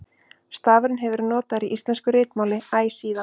stafurinn hefur verið notaður í íslensku ritmáli æ síðan